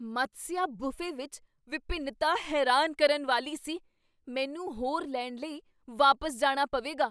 ਮਤਸਿਆ buffet ਵਿੱਚ ਵਿਭਿੰਨਤਾ ਹੈਰਾਨ ਕਰਨ ਵਾਲੀ ਸੀ! ਮੈਨੂੰ ਹੋਰ ਲੈਣ ਲਈ ਵਾਪਸ ਜਾਣਾ ਪਵੇਗਾ।